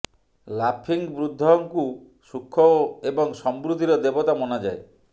laughing Buddha ଙ୍କୁ ସୁଖ ଏବଂ ସମୃଦ୍ଧି ର ଦେବତା ମନା ଯାଏ